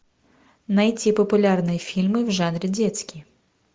найти популярные фильмы в жанре детский